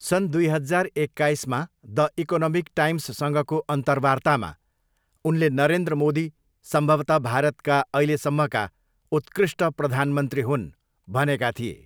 सन् दुई हजार एक्काइसमा द इकोनोमिक टाइम्ससँगको अन्तर्वार्तामा उनले नरेन्द्र मोदी 'सम्भवतः भारतका अहिलेसम्मका उत्कृष्ट प्रधानमन्त्री हुन्' भनेका थिए।